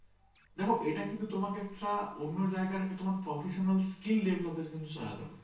দেখো ওটা কিন্ত তোমাকে একটা অন্য জাইগা একটা professional skill develop ভাবে চালাতে হবে